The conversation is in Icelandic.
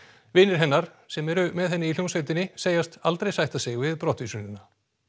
vinir hennar sem eru með henni í hljómsveitinni segjast aldrei sætta sig við brottvísunina